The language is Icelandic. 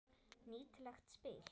Nýtileg spil.